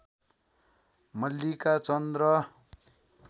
मल्लिका चन्द र